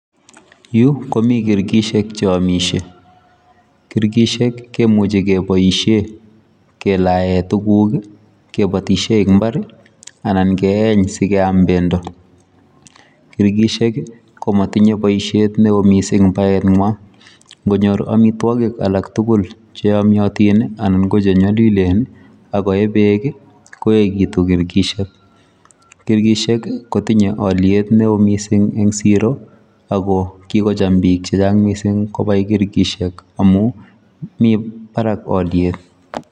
Yuu komii kirkitsiek che yamisie, kirkitsiek kemuchei kebaisheen kelaen tuguuk ii kebaisheen en mbar anan keyeen sikeyaam bendo, kirkitsiek ii komatinyei boisiet ne wooh missing baet nywaany ingonyoor amitwagiik alaak tugul che yamyatiin ii anan ko che nyalilen ii ako ye beek ii koyegituun kirkishek , kirkishek ii kotinyei aliet ne wooh missing en siro, ako kikochaam biik chechaang kobai kirkishek, amuun mii baraak aliet.